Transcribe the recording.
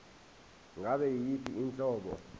ngabe yiyiphi inhlobo